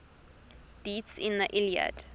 deities in the iliad